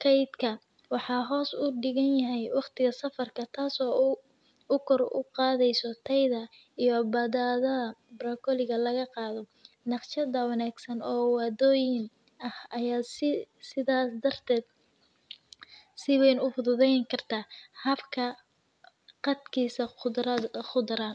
faydka wax hoos udiganyahay waqtika safirka, taas oo gor u qadysoh tayada iyo baadab bargoleykado naqshada wagsan oo wa doyinika ah aya sii sidas dartad sii wan ufududayni kartah habka qadkas, qor.